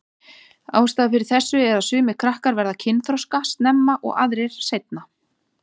Ástæðan fyrir þessu er að sumir krakkar verða kynþroska snemma og aðrir seinna.